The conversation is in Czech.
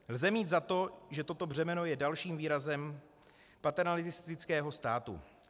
Lze mít za to, že toto břemeno je dalším výrazem paternalistického státu.